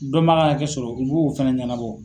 Dɔ man a ka hakɛ sɔrɔ u b'o fana ɲɛnabɔ.